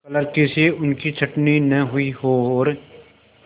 क्लर्की से उनकी छँटनी न हुई हो और